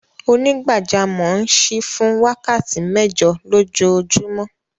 Onígbàjàmọ̀ n ṣíí fún wákàtí mẹ́jọ̀ lọjoojumọ̀.